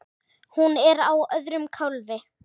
Hún er á öðrum kálfi.